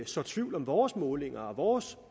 sår tvivl om vores målinger vores